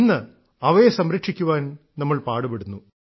ഇന്ന് അവയെ സംരക്ഷിക്കാൻ നമ്മൾ പാടുപെടുന്നു